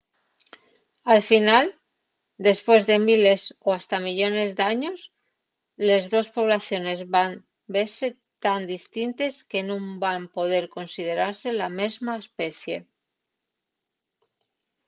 al final depués de miles o hasta millones d’años les dos poblaciones van vese tan distintes que nun van poder considerase la mesma especie